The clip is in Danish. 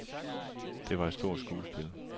Det var et stort skuespil.